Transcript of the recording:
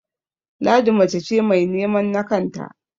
Ladi mace ce mai nemen na kanta